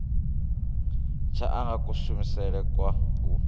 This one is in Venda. tsha anga kushumele kwa u